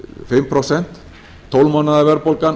fimm prósent ár tólf mánaða verðbólgan